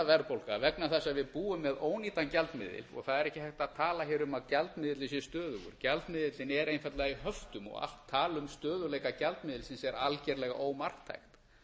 verðbólga vegna þess að við búum við ónýtan gjaldmiðil það er ekki hægt að tala hér um að gjaldmiðillinn sé stöðugur gjaldmiðillinn er einfaldlega í höftum og allt tal um stöðugleika gjaldmiðilsins er algerlega ómarktækt